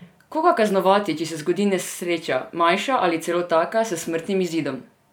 Koga kaznovati, če se zgodi nesreča, manjša ali celo taka s smrtnim izidom?